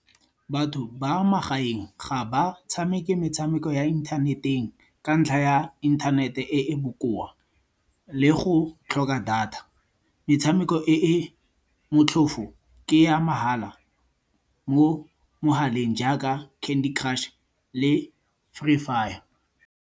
Batho ba magaeng ga ba tshameke metshameko ya inthaneteng ka ntlha ya inthanete e e bokoa, le go tlhoka data. Metshameko e e motlhofo ke ya mahala mo mogaleng jaaka Candy Crush le Free Fire.